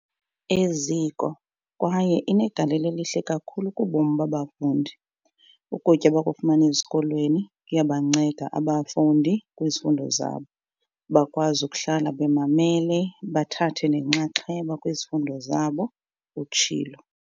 "eziko kwaye inegalelo elihle kakhulu kubomi babafundi. Ukutya abakufumana ezikolweni kuyabanceda abafundi kwizifundo zabo, bakwazi ukuhlala bemamele bethatha nenxaxheba kwizifundo zabo," utshilo.